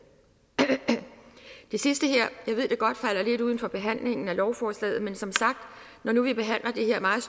det sidste her ved jeg godt falder lidt uden for behandlingen af lovforslaget men når nu vi behandler det her meget